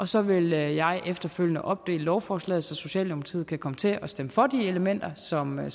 så vil jeg efterfølgende opdele lovforslaget så socialdemokratiet kan komme til at stemme for de elementer som man